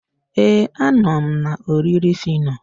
ee, a nọ m na oriri phyno.